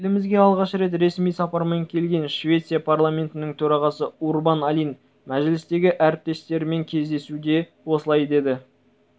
елімізге алғаш рет ресми сапармен келген швеция парламентінің төрағасы урбан алин мәжілістегі әріптестерімен жүздесуде осылай деді